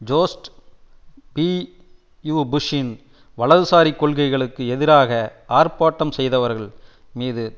George W புஷ்ன் வலதுசாரி கொள்கைகளுக்கு எதிராக ஆர்ப்பாட்டம் செய்தவர்கள் மீது